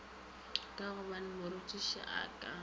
ka gobane morutiši a ka